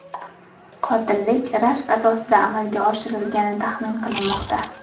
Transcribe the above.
Qotillik rashk asosida amalga oshirilgani taxmin qilinmoqda.